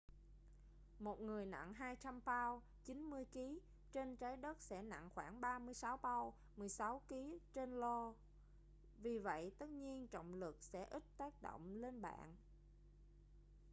một người nặng 200 pao 90kg trên trái đất sẽ nặng khoảng 36 pao 16kg trên io. vì vậy tất nhiên trọng lực sẽ ít tác động lên bạn